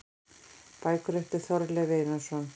Bækur eftir Þorleif Einarsson